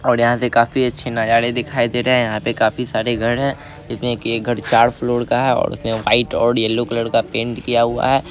और यहाँ पे काफी अच्छे नज़ारे दिखाई दे रहे हैं | यहाँ पे काफी सारे घर है दिखने में के ये घर चार फ्लोर का है यलो कलर और वाईट कलर का पेंट किया हुआ है।